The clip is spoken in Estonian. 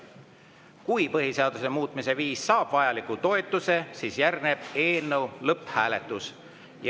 Kui põhiseaduse muutmise viis saab vajaliku toetuse, siis järgneb eelnõu lõpphääletus.